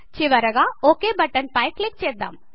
చివరగా okay button పై click చేద్దాం